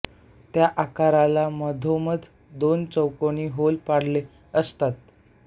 त्या आकाराला मधोमध दोन चौकोनी होल पाडलेले असतात